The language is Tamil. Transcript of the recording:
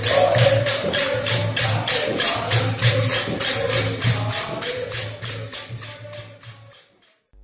கயானா நாட்டுப் பாடல்